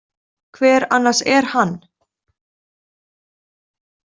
Hver annars er hann?